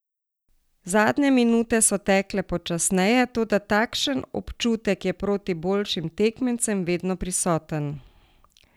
Zadnje minute so zato tekle počasneje, toda takšen občutek je proti boljšim tekmecem vedno prisoten.